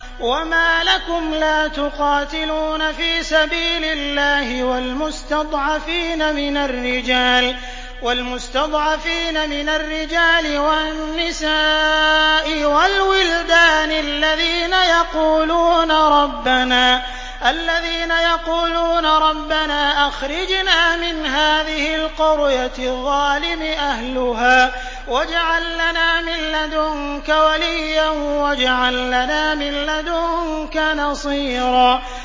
وَمَا لَكُمْ لَا تُقَاتِلُونَ فِي سَبِيلِ اللَّهِ وَالْمُسْتَضْعَفِينَ مِنَ الرِّجَالِ وَالنِّسَاءِ وَالْوِلْدَانِ الَّذِينَ يَقُولُونَ رَبَّنَا أَخْرِجْنَا مِنْ هَٰذِهِ الْقَرْيَةِ الظَّالِمِ أَهْلُهَا وَاجْعَل لَّنَا مِن لَّدُنكَ وَلِيًّا وَاجْعَل لَّنَا مِن لَّدُنكَ نَصِيرًا